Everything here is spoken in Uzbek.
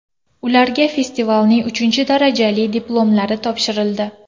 Ularga festivalning uchinchi darajali diplomlari topshirildi.